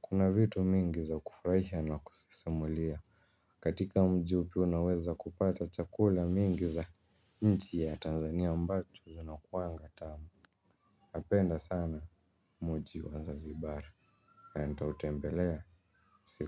Kuna vitu mingi za kufraisha na kusisimulia. Katika mji huo pia unaweza kupata chakula mingi za mji ya Tanzania mbatu zinakuangatamu. Npenda sana muji wanzazibara. Henta utembelea. Siku.